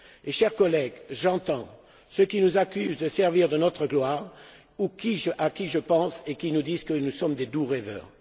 Mes chers collègues, j'entends ceux qui nous accusent de nous servir de notre gloire ou ceux à qui je pense et qui nous disent que nous sommes de doux rêveurs.